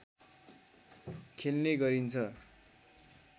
खेल्ने गरिन्छ